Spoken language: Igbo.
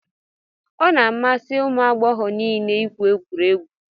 Ọ na-amasị ụmụ agbọghọ niile igwụ egwuregwu